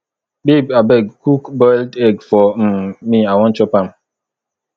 babe abeg cook boiled egg for um me i wan chop am